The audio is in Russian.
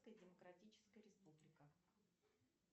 демократическая республика